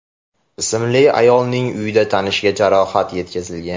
ismli ayolning uyida tanishiga jarohat yetkazgan.